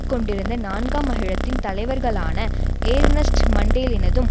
கொண்டிருந்த நான்காம் அகிலத்தின் தலைவர்களான ஏர்ணஸ்ட் மண்டேலினதும்